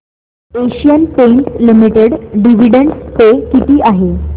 Asian Paints Limited dividend pay किती आहे